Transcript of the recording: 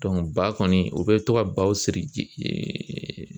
ba kɔni, o bɛ to ka baw siri